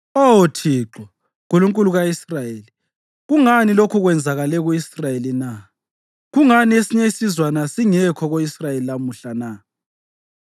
“Oh Thixo, Nkulunkulu ka-Israyeli, kungani lokhu kwenzakale ku-Israyeli na? Kungani esinye isizwana singekho ko-Israyeli lamhla na?”